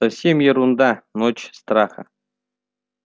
совсем ерунда ночь страха